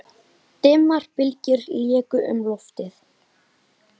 Dimmar bylgjur léku um loftið.